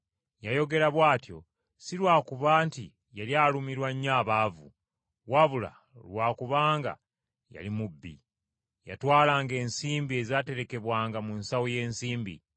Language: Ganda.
Yayogera bw’atyo si lwa kuba nti yali alumirwa nnyo abaavu, wabula Lwa kubanga yali mubbi. Yatwalanga ensimbi ezaaterekebwanga mu nsawo y’ensimbi.